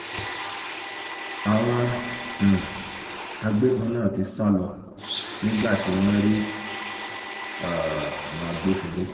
àwọn um agbébọn náà ti sá lọ nígbà tí wọ́n rí um àwọn agbófinró